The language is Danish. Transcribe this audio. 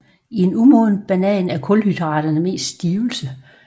I en umoden banan er kulhydraterne mest stivelse